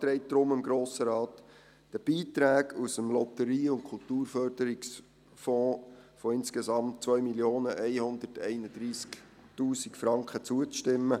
Der Regierungsrat beantragt darum dem Grossen Rat, den Beiträgen aus dem Lotterie- und Kulturförderungsfonds von insgesamt 2 131 000 Franken zuzustimmen.